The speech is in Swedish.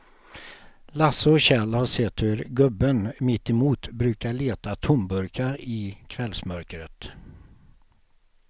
Lasse och Kjell har sett hur gubben mittemot brukar leta tomburkar i kvällsmörkret.